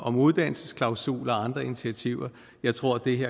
om uddannelsesklausuler og andre initiativer og jeg tror ikke